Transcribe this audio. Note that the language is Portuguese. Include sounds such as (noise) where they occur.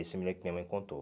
(unintelligible) minha mãe contou.